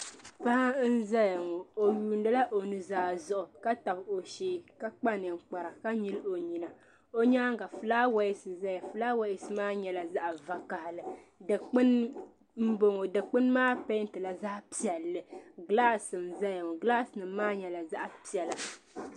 Paɣi nzaya ŋɔ ,ɔ yuuni la o nuzaa zuɣu ka tabi o shee ka kpa ninkpara, ka nyili ɔnyina, o nyaaŋa fulawes n zɛya fulaawes maa nyala zaɣi vakahili di kpini m-bɔŋɔ dikpuni maa pɛɛntila zaɣi piɛli gilaas n zay ŋɔ gilaas i nim maa nyala zaɣi pɛla.